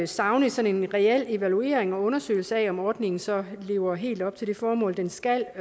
savne sådan en reel evaluering og undersøgelse af om ordningen så lever helt op til det formål den skal